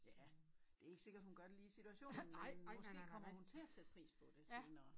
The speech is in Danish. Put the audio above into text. Ja det ikke sikkert hun gør det lige i situationen men måske kommer hun til at sætte pris på det senere